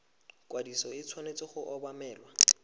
ikwadiso e tshwanetse go obamelwa